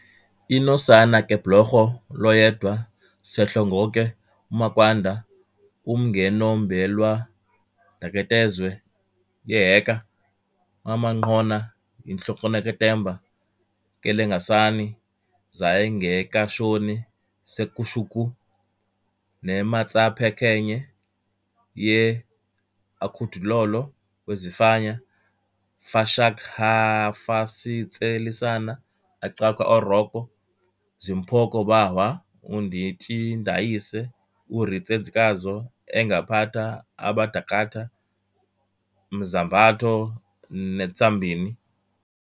Inosana kebhloko lwoYedwa seHlongonke umakwanda umngwenombelwandaketezwe yeYeka wamanqhona yiHlonoketemba keLengasani zaIngekashoni seKhushuku neMatsaphenye ye-akhut'lolo wazifanya fashak'hafasitselisana aCakhwa oRoko zimphoko bahwa uNdinotjindayise uRiLetsikazo engaphata abadakhatha emzambato neTzambini